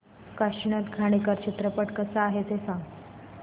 काशीनाथ घाणेकर चित्रपट कसा आहे ते सांग